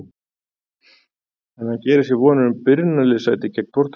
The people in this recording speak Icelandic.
En gerir hann sér vonir um byrjunarliðssæti gegn Portúgal?